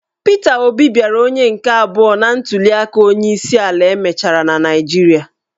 Pita Obi bịara onye nke abụọ na ntuliaka onyeisiala e mechara na Naịjirịa.